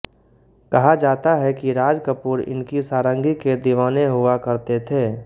कहा जाता है कि राजकपूर इनकी सारंगी के दीवाने हुआ करते थे